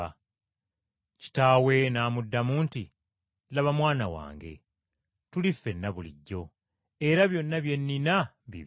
“Kitaawe n’amuddamu nti, ‘Laba mwana wange, tuli ffenna bulijjo, era byonna bye nnina bibyo.